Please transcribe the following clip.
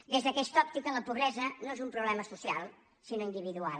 des d’aquesta òptica la pobresa no és un problema social sinó individual